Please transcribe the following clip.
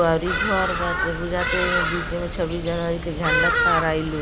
अउरी घर बाटे बुझाता एहिमे बीचे में छब्बीस जनवरी के झंडा फहराई लोग।